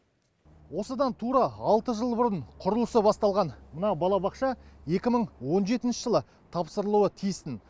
осыдан тура алты жыл бұрын құрылысы басталған мына балабақша екі мың он жетінші жылы тапсырылуы тиіс тін